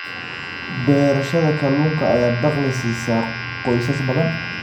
Beerashada kalluunka ayaa dakhli siisa qoysas badan.